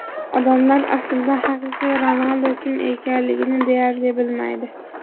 Odamlar aslida haqiqiy Ronaldu kim ekanligini deyarli bilmaydi.